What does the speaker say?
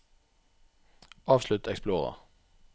avslutt Explorer